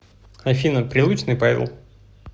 афина прилучный павел